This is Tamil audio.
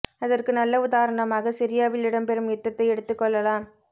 அதற்கு நல்ல உதாரணமாக சிரியாவில் இடம் பெறும் யுத்தத்தை எடுத்து கொள்ளலாம்